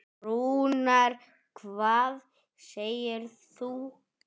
Rúnar, hvað segirðu gott?